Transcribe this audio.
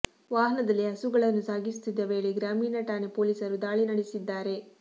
ವಾಹನದಲ್ಲಿ ಹಸುಗಳನ್ನು ಸಾಗಿಸುತ್ತಿದ್ದ ವೇಳೆ ಗ್ರಾಮೀಣ ಠಾಣೆ ಪೊಲೀಸರು ದಾಳಿ ನಡೆಸಿದ್ದಾರೆ